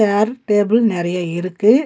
சேர் table நெறைய இருக்கு.